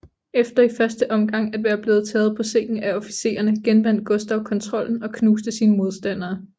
Efter i første omgang at være blevet taget på sengen af officererne genvandt Gustav kontrollen og knuste sine modstandere